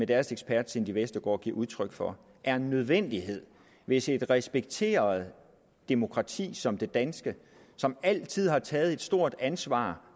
deres ekspert cindy vestergaard giver udtryk for er en nødvendighed hvis et respekteret demokrati som det danske som altid har taget et stort ansvar